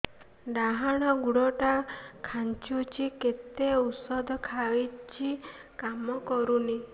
ଡାହାଣ ଗୁଡ଼ ଟା ଖାନ୍ଚୁଚି ଯେତେ ଉଷ୍ଧ ଖାଉଛି କାମ କରୁନି